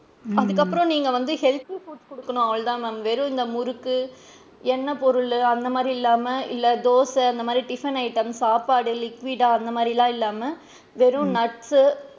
அதுக்கு அப்பறம் நீங்க வந்து healthy food குடுக்கணும் அவ்வளோதான் ma'am வெறும் இந்த முறுக்கு எண்ணெய் பொருளு அந்த மாதிரி இல்லாம இல்ல இந்த தோசை இந்த மாதிரி tiffin items சாப்பாடு liquid டா அந்த மாறி இல்லாம வெறும் nuts சு,